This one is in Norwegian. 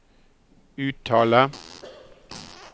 uttale